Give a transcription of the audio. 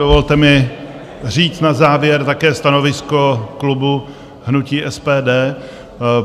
Dovolte mi říct na závěr také stanovisko klubu hnutí SPD.